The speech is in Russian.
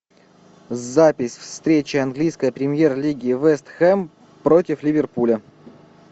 запись встречи английской премьер лиги вест хэм против ливерпуля